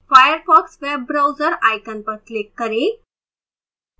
firefox web browser icon पर click करें